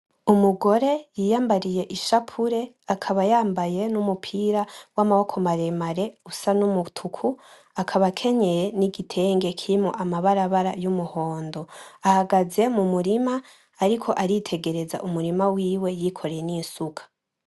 Umugore yiyambariye ishapure akaba yambaye n'umupira w'amaboko maremare usa n'umutuku akaba akenyeye n'igitenge kirimwo amabarabara y'umuhondo. Ahagaze mu murirma ariko aritegereza umurima wiwe yikoreye n'isuka.